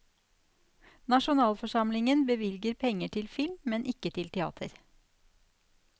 Nasjonalforsamlingen bevilger penger til film, men ikke til teater.